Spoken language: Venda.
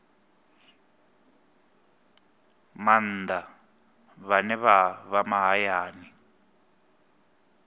maanḓa vhane vha vha mahayani